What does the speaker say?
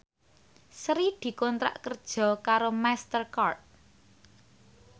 Sri dikontrak kerja karo Master Card